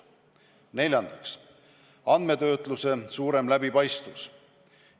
Neljandaks, andmetöötluse suurem läbipaistvus.